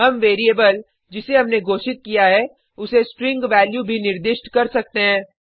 हम वेरिएबल जिसे हमने घोषित किया है उसे स्ट्रिंग वैल्यू भी निर्दिष्ट कर सकते हैं